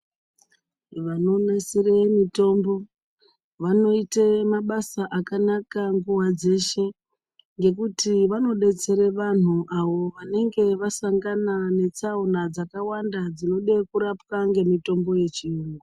Vanonasire mitombo vanoite mabasa akanaka nguva dzeshe ngekuti vanobetsera vantu vanenge vasangana netsaona vanode kurapwa ngemitombo yechiyungu.